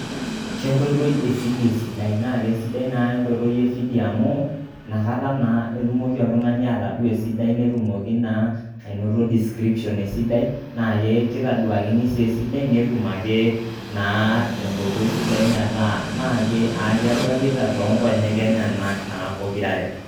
Kenkoitoi e vidio esidai naake sidai naa enkoitoi e vidio amu, inakata naa etumoki oltung'ani atadua esidai netumoki naa ainoto description esidai naake kitaduakini sii esidai netum ake naa tenkoitoi sidai metaa ake edolita toonkonyek enyenak pokitare.